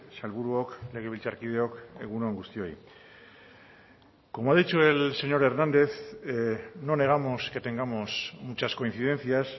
sailburuok legebiltzarkideok egun on guztioi como ha dicho el señor hernández no negamos que tengamos muchas coincidencias